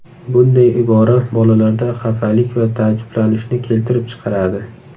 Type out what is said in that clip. Bunday ibora bolalarda xafalik va taajjublanishni keltirib chiqaradi.